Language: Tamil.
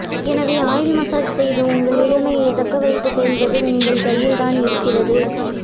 எனவே ஆயில் மஜாஜ் செய்து உங்கள் இளமையை தக்க வைத்துக்கொள்வது உங்கள் கையில் தான் இருக்கிறது